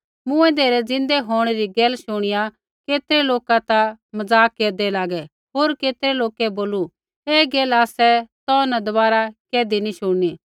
मूँऐंदै रै ज़िन्दै होंणै री गैल शुणिया केतरै लोका ता मज़ाक केरदै लागै होर केतरै लोकै बोलू ऐ गैल आसा तौ न दबारा कैधी नी शुणनी